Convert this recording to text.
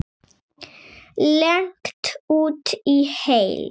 Leigt út í heild?